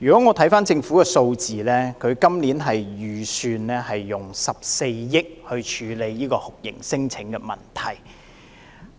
我回看政府的數字，今年預算用14億元來處理酷刑聲請問題。